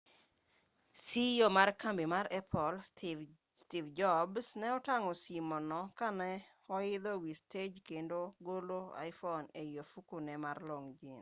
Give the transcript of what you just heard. ceo ma kambi mar apple steve jobs ne otang'o simo no ka ne oidho wi stej kendo golo iphone ei ofukune mar long' jins